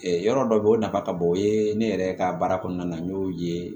yɔrɔ dɔ bɛ yen o nafa ka bon o ye ne yɛrɛ ka baara kɔnɔna na n y'o ye